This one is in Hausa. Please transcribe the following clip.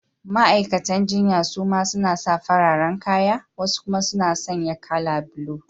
Ma’aikatan jinya su ma suna sa fararen kaya, wasu kuma suna sanye kala blue.